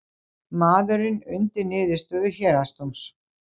Maðurinn undi niðurstöðu héraðsdóms